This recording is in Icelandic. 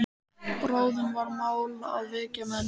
Bráðum var mál að vekja menn.